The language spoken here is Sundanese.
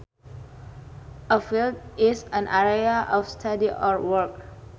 A field is an area of study or work